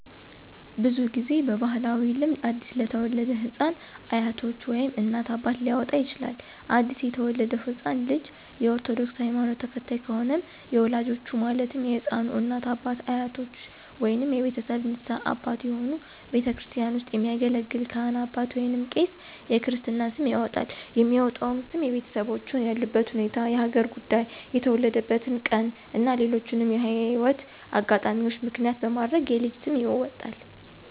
ብዙ ጊዜ በባህላዊ ልምድ አዲስ ለተወለደ ህፃን አያቶች ወይም እናት፣ አባት ሊያወጣ ይችላል። አዲስ የተወለደው ህፃን ልጅ የ ኦርቶዶክስ ሀይማኖት ተከታይ ከሆነም የወላጆቹ ማለትም የህፃኑ እናት፣ አባት፣ አያቶች ወይንም የቤተሰብ ንስሀ አባት የሆኑ ቤተክርስቲያን ውስጥ የሚያገለግል ካህን አባት ወይንም ቄስ የክርስትና ስም ያወጣል። የሚወጣውም ስም የቤተሰቦቹን ያሉበት ሁኔታ፣ የሀገር ጉዳይ፣ የተወለደበትን ቀን እና ሌሎችንም የህይወት አጋጣሚዎች ምክንያት በማድረግ የልጅ ስም ይወጣል።